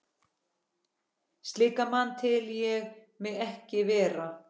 Slíkan mann tel ég mig ekki vera.